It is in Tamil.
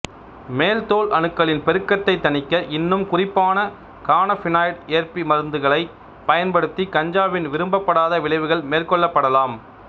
மேல் தோல் அணுக்களின் பெருக்கத்தை தணிக்க இன்னும் குறிப்பான கானபினாய்டு ஏற்பி மருத்துவங்களைப் பயன்படுத்தி கஞ்சாவின் விரும்பப்படாத விளைவுகள் மேற்கொள்ளப்படலாம்